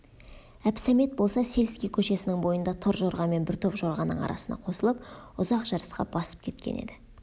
әбсәмет болса сельский көшесінің бойында торжорғамен бір топ жорғаның арасына қосылып ұзақ жарысқа басып кеткен еді